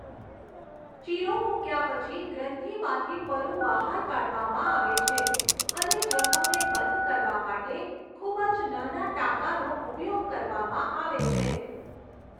ચીરો મુક્યા પછી ગ્રંથિમાંથી પરુ બહાર કાઢવામાં આવે છે અને જખમને બંધ કરવા માટે ખૂબ જ નાના ટાંકાનો ઉપયોગ કરવામાં આવે છે.